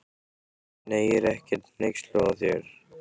Nei, ég er ekkert hneyksluð á þér.